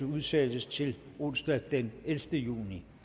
udsættes til onsdag den ellevte juni